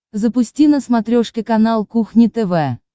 запусти на смотрешке канал кухня тв